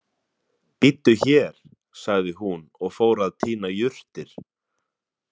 Bíddu hér, sagði hún og fór að tína jurtir.